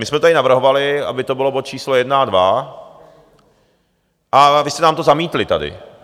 My jsme tady navrhovali, aby to byl bod číslo 1 a 2, a vy jste nám to zamítli tady.